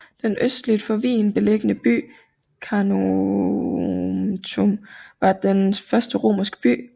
Den østligt for Wien beliggende by Carnuntum var den største romerske by